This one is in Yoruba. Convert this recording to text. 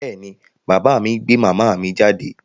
Bẹ́ẹ̀ ni, bàbá mi gbé màmá mi jáde.